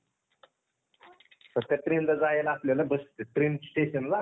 trainन जायला आपल्याला train stationला.